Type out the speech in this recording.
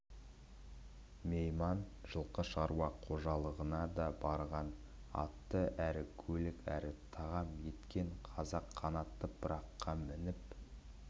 мейман жылқы шаруа қожалығына да барған атты әрі көлік әрі тағам еткен халық қанатты пыраққа мініп